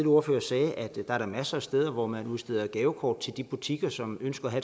ordfører sagde at der er masser af steder hvor man udsteder gavekort til de butikker som ønsker at